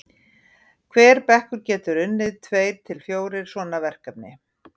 hver bekkur getur unnið tveir til fjórir svona verkefni